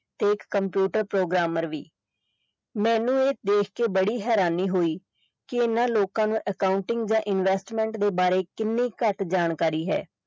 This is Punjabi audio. ਤੇ ਇੱਕ computer programmer ਵੀ ਮੈਨੂੰ ਇਹ ਦੇਖ ਕੇ ਬੜੀ ਹੈਰਾਨੀ ਹੋਈ ਕਿ ਇਹਨਾਂ ਲੋਕਾਂ ਨੂੰ accounting ਜਾਂ investment ਦੇ ਬਾਰੇ ਕਿੰਨੀ ਘੱਟ ਜਾਣਕਾਰੀ ਹੈ।